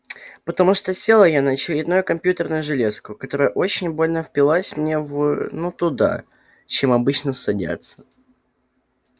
потому что села я на очередную компьютерную железку которая очень больно впилась мне в ну туда чем обычно садятся